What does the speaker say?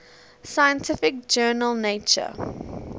scientific journal nature